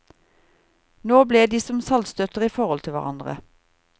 Nå ble de som saltstøtter i forhold til hverandre.